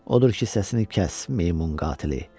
Odur ki, səsini kəs, meymun qatili.